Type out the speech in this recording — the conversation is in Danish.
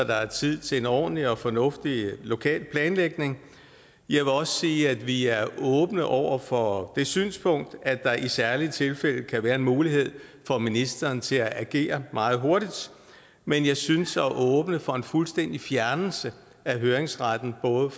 der er tid til en ordentlig og fornuftig lokal planlægning jeg vil også sige at vi er åbne over for det synspunkt at der i særlige tilfælde kan være en mulighed for ministeren til at agere meget hurtigt men jeg synes at det at åbne for en fuldstændig fjernelse af høringsretten både